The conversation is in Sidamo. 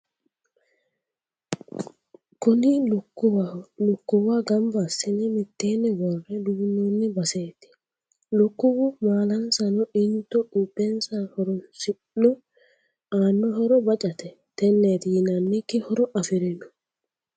Kuni lukkuwaho, lukkuwa gamba assine mitteenni worre duunnoonni baseeti. Lukkuwu maalansano into quupheessa horoonsi'no aano horo bacate tenneeti yinannikki horo afirino.